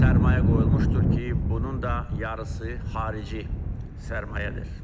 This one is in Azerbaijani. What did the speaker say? sərmayə qoyulmuşdur ki, bunun da yarısı xarici sərmayədir.